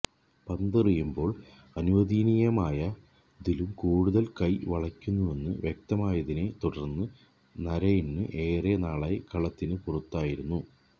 പന്തെറിയുമ്പോള് അനുവദനീയമായതിലും കൂടുതല് കൈ വളയ്ക്കുന്നെന്ന് വ്യക്തമായതിനെ തുടര്ന്ന് നരെയ്ന് ഏറെ നാളായി കളത്തിനു പുറത്തായിരുന്നു